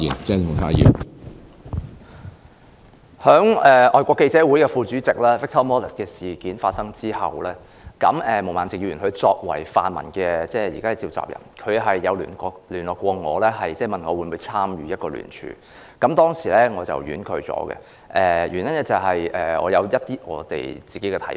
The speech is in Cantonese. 在香港外國記者會副主席 Victor MALLET 的事件發生後，毛孟靜議員作為泛民現時的召集人，曾聯絡我，問我會否參與聯署，我當時婉拒了，原因是我有自己的一些看法。